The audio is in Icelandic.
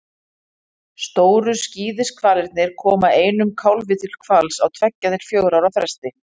Stóru skíðishvalirnir koma einum kálfi til hvals á tveggja til fjögurra ára fresti.